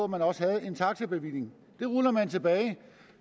man også havde en taxabevilling det ruller man tilbage